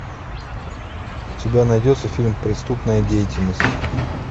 у тебя найдется фильм преступная деятельность